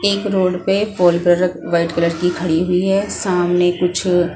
एक रोड पे फॉलब्रेडे वाइट कलर की खड़ी हुई है सामने कुछ--